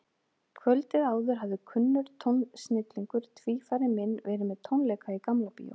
Kvöldið áður hafði kunnur tónsnillingur, tvífari minn, verið með tónleika í Gamla Bíó.